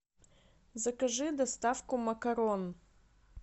закажи доставку макарон